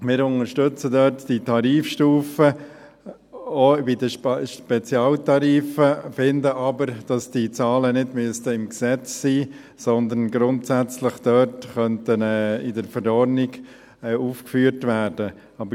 Wir unterstützen da diese Tarifstufen, auch bei den Spezialtarifen, finden aber, dass die Zahlen nicht im Gesetz sein müssten, sondern grundsätzlich in der Verordnung aufgeführt werden könnten.